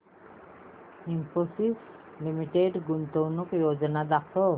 Infosys limited गुंतवणूक योजना दाखव